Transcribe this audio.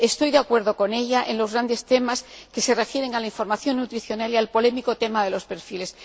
Estoy de acuerdo con ella en los grandes temas que se refieren a la información nutricional y al polémico tema de los perfiles.